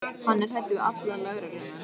Hann er hræddur við alla lögreglumenn.